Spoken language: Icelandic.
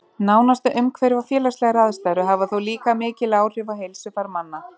Nánasta umhverfi og félagslegar aðstæður hafa þó líka mikil áhrif á heilsufar manna.